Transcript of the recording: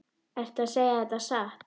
Ertu að segja þetta satt?